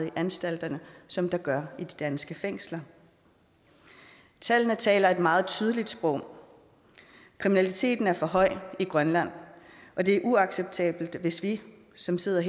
i anstalterne som der gør i de danske fængsler tallene taler et meget tydeligt sprog kriminaliteten er for høj i grønland og det er uacceptabelt hvis vi som sidder